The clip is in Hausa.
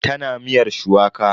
Tana miyar shuwaka.